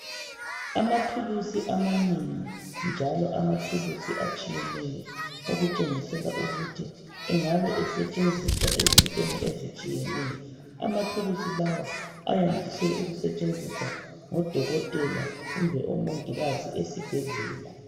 Amathulusi amanengi njalo amathulusi etshiyeneyo, okutshengisela ukuthi engabe asetshenziswa ezitweni ezitshiyeneyo. Amathulusi lawa ayandise ukusetshenziswa ngodokotela kumbe omongikazi esibhedlela.